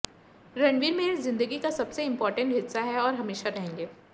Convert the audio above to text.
रणवीर मेरी जिंदगी का सबसे इंपोर्टेंट हिस्सा है और हमेशा रहेंगे